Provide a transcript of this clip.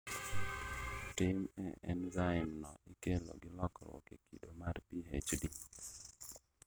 Tin e enzaim no ikelo gi lokruok e kido mar HPD